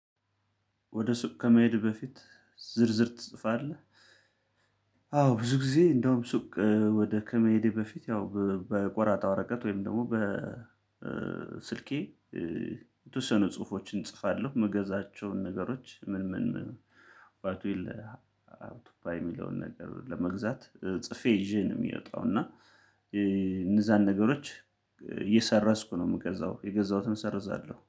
ወደ ሱቅ ከመሄድህ በፊት ዝርዝር ትጽፋለህ? አዎ ብዙ ጊዜ እንደውም ሱቅ ወደ ከመሄዴ በፊት ያው በቆራጣ ወረቀት ወይም ደግሞ በስልኬ። የተወሰኑ ጽሁፎችን እጽፋለሁ ምገዛቸውን ነገሮች ምን ምን ምን ባቱ የለ ሀው ቱ ፓይ የሚለውን ነገር ለመግዛት ጽፌ ይዤ ነው የሚወጣው። እና እነዛን ነገሮች እየሰረዝኩ ነው የምገዛው የገዛሁትን እሰርዛለሁ